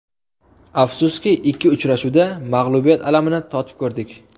Afsuski, ikki uchrashuvda mag‘lubiyat alamini totib ko‘rdik.